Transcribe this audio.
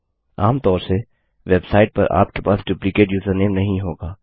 आमतौर से वेबसाइट पर आपके पास डुप्लिकेट यूजरनेम नहीं होगा